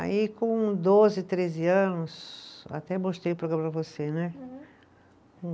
Aí com doze, treze anos, até mostrei o programa para você, né? Uhum